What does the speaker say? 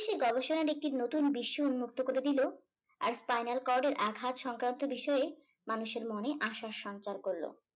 গবেষণার একটি নতুন বিশ্ব উন্মুক্ত করে দিল আর spinal cord এর আঘাত সংক্রান্ত বিষয়ে মানুষের মনে আশার সঞ্চার করলো।